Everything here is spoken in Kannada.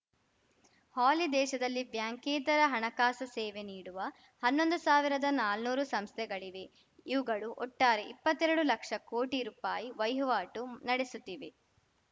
ಹಾಲಿ ದೇಶದಲ್ಲಿ ಬ್ಯಾಂಕೇತರ ಹಣಕಾಸು ಸೇವೆ ನೀಡುವ ಹನ್ನೊಂದು ಸಾವಿರದ ನಾನೂರು ಸಂಸ್ಥೆಗಳಿವೆ ಇವುಗಳು ಒಟ್ಟಾರೆ ಇಪ್ಪತ್ತೆರಡು ಲಕ್ಷ ಕೋಟಿ ರೂಪಾಯಿವಹಿವಾಟು ನಡೆಸುತ್ತಿವೆ